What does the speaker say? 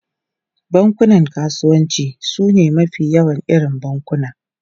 Bankunan kasuwanci sune mafi yawan irin bankuna.